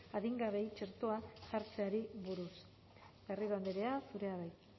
adingabeei txertoa jartzeari buruz garrido andrea zurea da hitza